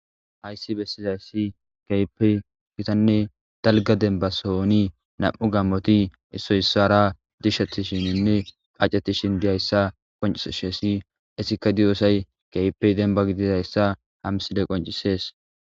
hayssi bessizayssi keyppe gittanne dalgga demba sohoni nam7u gammoti issoy issara dishshetininne qaccetishin diyayssa qoncishesi issikka diyoosay keypey denba gididayssa ha mssileye qoncisees